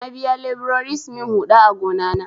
Na biya leburori su min huɗa a gona na.